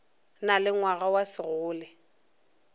na le ngwana wa segole